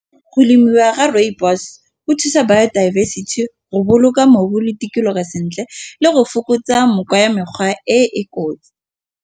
Go lemiwa ga rooibos go thusa biodiversity, go boloka mobu le tikologo sentle le go fokotsa ya mekgwa e e kotsi.